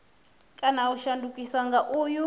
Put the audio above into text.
kana u shandukiswa nga uyu